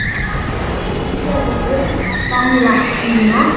Ég rifjaði upp gamla tíma.